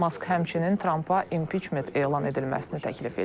Mask həmçinin Trampa impiçment elan edilməsini təklif eləyib.